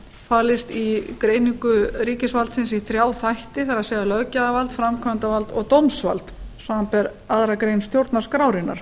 falist í greiningu ríkisvaldsins í þrjá þætti það er löggjafarvald framkvæmdarvald og dómsvald samanber aðra grein stjórnarskrárinnar